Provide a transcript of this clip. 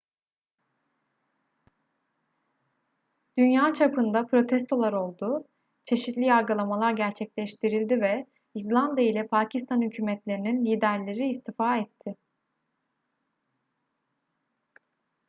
dünya çapında protestolar oldu çeşitli yargılamalar gerçekleştirildi ve i̇zlanda ile pakistan hükumetlerinin liderleri istifa etti